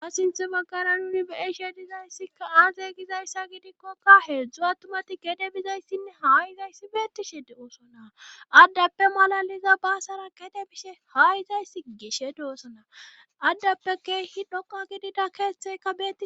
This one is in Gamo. Ta sinth baggara nuni beishe dizayssika aaze gizayssa gidikkokka heedzdzu attumati gede bizayssinne haa izayssi beettishide oosona addappe malaliza baasara kede bishe haayizayssi gishe doossana addappe keehi dhoka gidida keeththeka beei